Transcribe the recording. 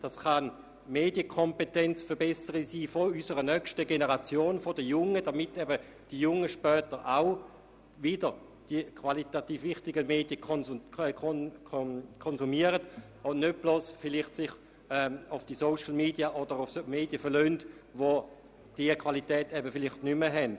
Es kann beispielsweise die Verbesserung der Medienkompetenz unserer nächsten Generation sein, sodass die jungen Leute später eben auch wieder qualitativ hochstehenden Medien konsultieren und sich nicht bloss auf Social Media oder andere Medien verlassen, welche diese Qualität vielleicht nicht mehr aufweisen.